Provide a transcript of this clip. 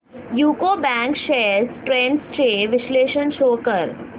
UCO bank shares trends चे विश्लेषण show कर